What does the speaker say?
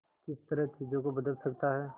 किस तरह चीजों को बदल सकता है